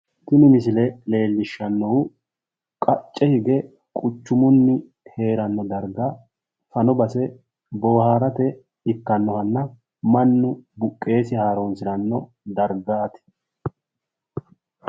Tini misile leellishshannohu qacce hige quchumunni heeranno dargga fano base boohaarate ikkannohanna mannu buqqeesi haaroonsiranno dargaati.